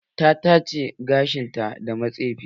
Ta tace gashin ta da matsefi